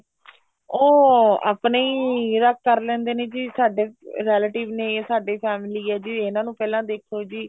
ਉਹ ਆਪਣੇ ਈ ਕਰ ਲੈਂਦੇ ਨੇ ਜੀ ਸਾਡੇ relative ਨੇ ਇਹ ਸਾਡੀ family ਏ ਜੀ ਇਹਨਾ ਨੂੰ ਪਹਿਲਾਂ ਦੇਖੋ ਜੀ